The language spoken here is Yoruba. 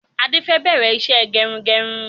Adé fẹ bẹ̀rẹ̀ ìṣe gẹrun-gẹrun